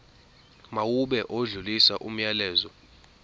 mawube odlulisa umyalezo